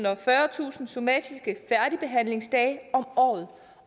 og fyrretusind somatiske færdigbehandlingsdage om året